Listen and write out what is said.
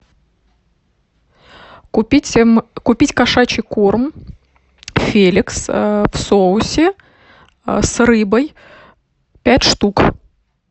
купить кошачий корм феликс в соусе с рыбой пять штук